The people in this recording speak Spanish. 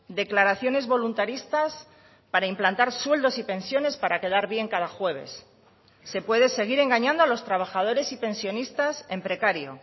declaraciones voluntaristas para implantar sueldos y pensiones para quedar bien cada jueves se puede seguir engañando a los trabajadores y pensionistas en precario